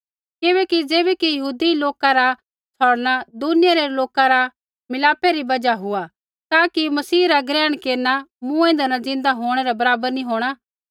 किबैकि ज़ैबै कि यहूदी लोका रा छ़ौड़णा दुनिया रै लोका रा मिलापा री बजहा हुआ ता कि मसीह रा ग्रहण केरना मूँएंदै न ज़िन्दा होंणै रै बराबर नी होंणा